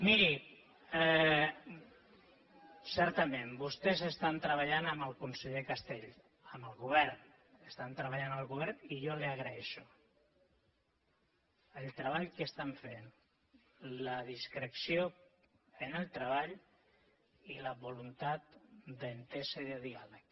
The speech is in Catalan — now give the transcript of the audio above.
miri certament vostès estan treballant amb el conseller castells amb el govern estan treballant amb el govern i jo li agraeixo el treball que estan fent la discreció en el treball i la voluntat d’entesa i de diàleg